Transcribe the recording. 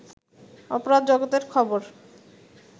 অপরাধ জগতের খবর